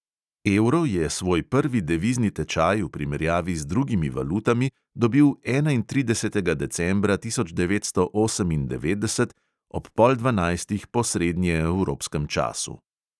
Evro je svoj prvi devizni tečaj v primerjavi z drugimi valutami dobil enaintridesetega decembra tisoč devetsto osemindevetdeset ob pol dvanajstih po srednjeevropskem času.